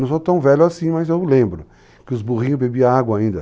Não sou tão velho assim, mas eu lembro que os burrinhos bebiam água ainda.